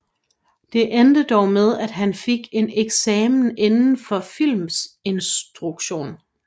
Det endte dog med at han fik en eksamen inden for filminstruktion